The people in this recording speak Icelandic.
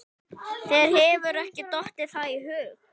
Þér hefur ekki dottið það í hug?